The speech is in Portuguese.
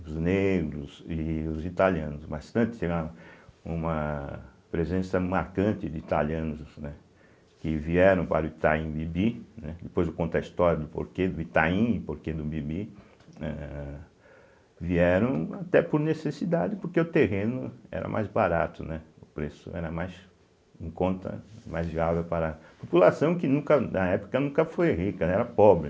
os negros e os italianos, mas antes tinha uma presença marcante de italianos, né que vieram para o Itaim Bibi, né, depois eu conto a história do porquê do Itaim e porquê do Bibi, eh vieram até por necessidade, porque o terreno era mais barato, né, o preço era mais em conta, mais viável para a população, que nunca na época nunca foi rica, né era pobre.